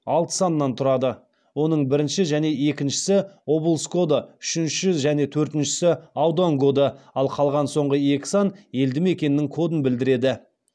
алты саннан тұрады оның бірінші және екіншісі облыс коды үшінші және төртіншісі аудан коды ал қалған соңғы екі сан елді мекеннің кодын білдіреді